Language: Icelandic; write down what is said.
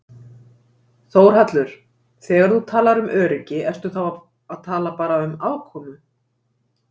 Þórhallur: Þegar þú talar um öryggi ertu þá að tala bara um afkomu?